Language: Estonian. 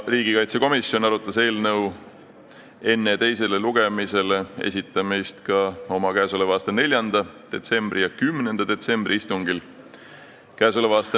Riigikaitsekomisjon arutas eelnõu enne teisele lugemisele esitamist ka oma 4. detsembri ja 10. detsembri istungil.